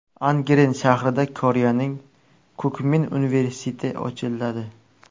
Angren shahrida Koreyaning Kukmin universiteti ochiladi.